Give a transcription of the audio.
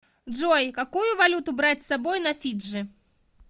джой какую валюту брать с собой на фиджи